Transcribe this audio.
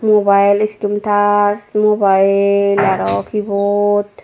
mobile screen touch mobile aro keyboard.